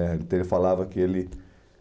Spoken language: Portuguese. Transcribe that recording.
né então ele falava que ele...